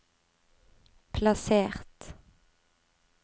plassert